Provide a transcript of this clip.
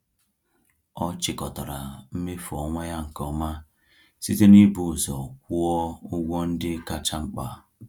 Ọ chịkọtara mmefu ọnwa ya nke ọma site n’ịbụ ụzọ kwụọ ụgwọ ndị kacha mkpa.